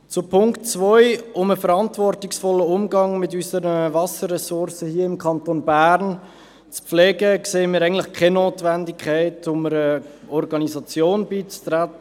Um den verantwortungsvollen Umgang mit unserer Wasserressource im Kanton Bern zu pflegen, sehen wir eigentlich keine Notwendigkeit, einer Organisation beizutreten.